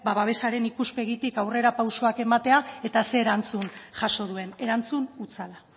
babesaren ikuspegitik aurrera pausuak ematea eta ze erantzun jaso duen erantzun hutsala